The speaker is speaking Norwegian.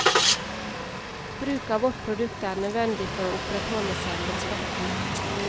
Bruk av vårt produkt er nødvendig for å opprettholde selvrespekten.